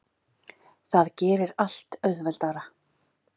Það gerir allt auðveldara.